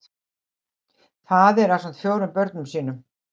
Faðir ásamt fjórum börnum sínum